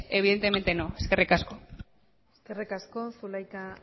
evidentemente no eskerrik asko eskerrik asko zulaika